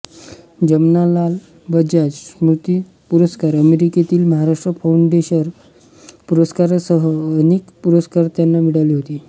जमनालाल बजाज स्मृती पुरस्कार अमेरिकेतील महाराष्ट्र फाउंडेशन पुरस्कारासह अनेक पुरस्कार त्यांना मिळाले होते